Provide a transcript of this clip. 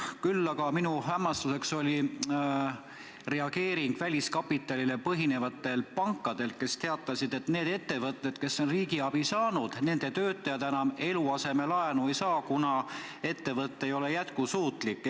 Küll aga hämmastas mind reaktsioon, mis tuli väliskapitalil põhinevatelt pankadelt, kes teatasid, et selliste ettevõtete töötajad, kes on riigiabi saanud, enam eluasemelaenu ei saa, kuna need ettevõtted ei ole jätkusuutlikud.